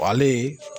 ale